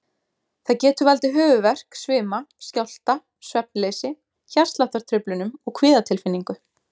Það getur valdið höfuðverk, svima, skjálfta, svefnleysi, hjartsláttartruflunum og kvíðatilfinningu.